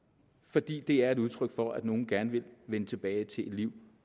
fordi det er et udtryk for at nogle gerne vil vende tilbage til et liv